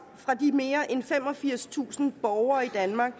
fra de mere end femogfirstusind borgere i danmark